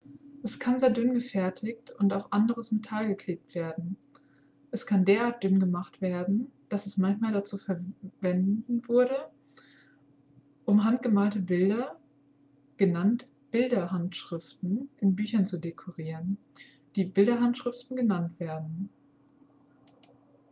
es kann sehr dünn gefertigt und auf anderes metall geklebt werden es kann derart dünn gemacht werden dass es manchmal dazu verwenwurde um handgemalte bilder genannt bilderhandschriften in büchern zu dekorieren die bilderhandschriften genannt werden